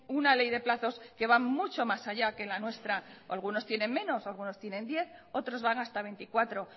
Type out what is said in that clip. una ley de plazos que van mucho más allá que la nuestra o algunos tienen menos o algunos tienen diez otros van hasta veinticuatro